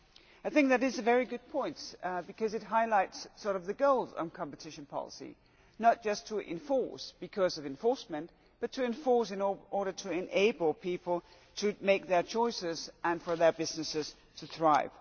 I think that is a very good point because it sort of highlights the goals of competition policy, not just to enforce because of enforcement but to enforce in order to enable people to make their choices and for their businesses to thrive.